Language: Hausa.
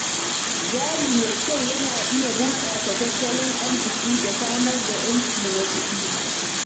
Jari mai kyau yana iya bunƙasa tattalin arziki da samar da ‘yanci na kuɗi.